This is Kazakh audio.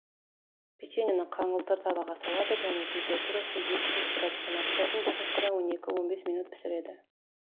печеньені қаңылтыр табаға салады және температурасы екі жүз градустан аспайтын духовкада он екі он бес минут пісіреді